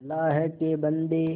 अल्लाह के बन्दे